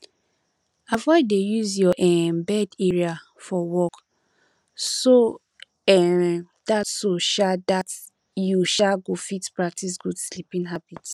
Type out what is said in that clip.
avoid to dey use your um bed area for work so um dat so um dat you um go fit practice good sleeping habit